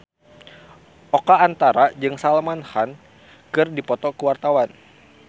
Oka Antara jeung Salman Khan keur dipoto ku wartawan